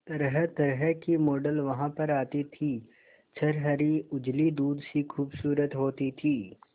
तरहतरह की मॉडल वहां पर आती थी छरहरी उजली दूध सी खूबसूरत होती थी